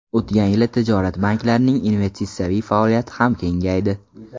O‘tgan yili tijorat banklarining investitsiyaviy faoliyati ham kengaydi.